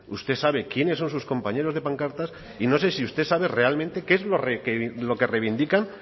usted sabe quiénes son sus compañeros de pancartas y no sé si usted sabe realmente qué es lo que reivindican